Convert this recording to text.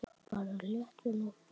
Bara léttvín og bjór.